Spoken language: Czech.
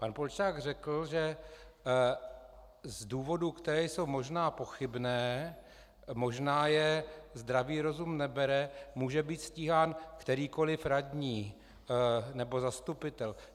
Pan Polčák řekl, že z důvodů, které jsou možná pochybné, možná je zdravý rozum nebere, může být stíhán kterýkoliv radní nebo zastupitel.